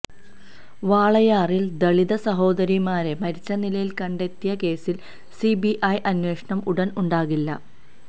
വാളയാറിൽ ദളിത് സഹോദരിമാരെ മരിച്ച നിലയിൽ കണ്ടെത്തിയ കേസിൽ സിബിഐ അന്വേഷണം ഉടൻ ഉണ്ടാകില്ല